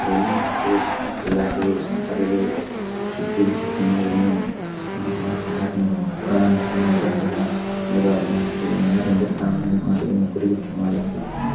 एलवीन केश एन केलारी जोंखा रःइई चुट्टी-गुट्ठी खण्डरा एनेम कोंहा-कोंहा शहर नू दुकान अपन धंधा लग्गा बअनर एन्दर-एन्दर काम हु मा रःइई नौकरी गूट्ठी माल लग्गी--